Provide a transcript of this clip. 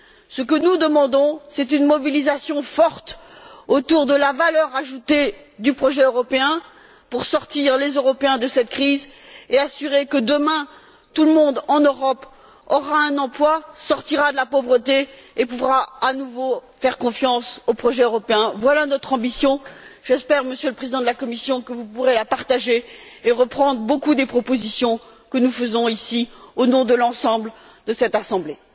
Ce que nous demandons, c'est une mobilisation forte autour de la valeur ajoutée du projet européen pour sortir les Européens de cette crise et assurer que, demain, tout le monde en Europe aura un emploi, sortira de la pauvreté et pourra à nouveau faire confiance au projet européen. Voilà notre ambition. J'espère, Monsieur le Président de la Commission, que vous pourrez la partager et reprendre nombre des propositions que nous faisons ici, au nom de l'ensemble de cette Assemblée.